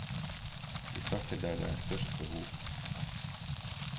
Vi starter der det er størst behov.